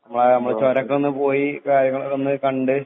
നമ്മള് ചൊരവൊക്കെയൊന്ന് പോയി കാര്യങ്ങളൊക്കെ കണ്ട്